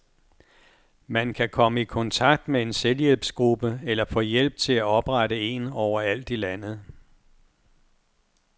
Man kan komme i kontakt med en selvhjælpsgruppe eller få hjælp til at oprette en overalt i landet.